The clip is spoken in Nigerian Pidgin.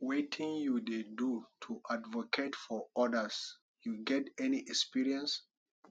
wetin you dey do to advocate for odas you get any experience